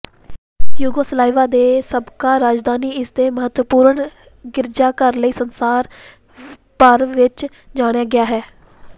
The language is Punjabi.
ਯੂਗੋਸਲਾਵੀਆ ਦੇ ਸਾਬਕਾ ਰਾਜਧਾਨੀ ਇਸ ਦੇ ਮਹੱਤਵਪੂਰਨ ਗਿਰਜਾਘਰ ਲਈ ਸੰਸਾਰ ਭਰ ਵਿੱਚ ਜਾਣਿਆ ਗਿਆ ਹੈ